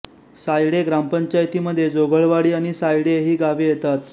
सायडे ग्रामपंचायतीमध्ये जोगळवाडी आणि सायडे ही गावे येतात